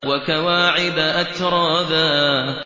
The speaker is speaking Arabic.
وَكَوَاعِبَ أَتْرَابًا